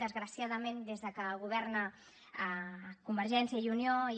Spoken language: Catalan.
desgraciadament des que governa convergència i unió i